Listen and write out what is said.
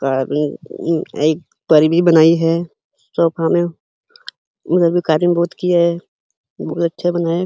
भी बनाई है। सोफा में बहोत अच्छा बना है।